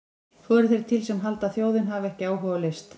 Svo eru þeir til sem halda að þjóðin hafi ekki áhuga á list!